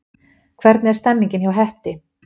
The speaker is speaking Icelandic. Hvernig er stemningin hjá Hetti?